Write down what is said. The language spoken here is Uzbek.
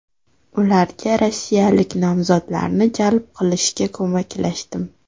Ularga rossiyalik nomzodlarni jalb qilishga ko‘maklashdim.